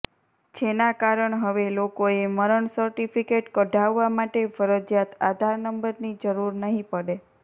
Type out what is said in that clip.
જેના કારણ હવે લોકોએ મરણ સર્ટીફિકેટ કઢાવવા માટે ફરજીયાત આધાર નંબરની જરૂર નહીં પડે